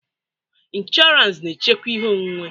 Insụranz na-echekwa ihe onwunwe.